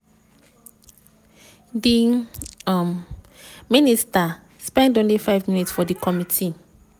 di um minister spend only five minutes for di committee.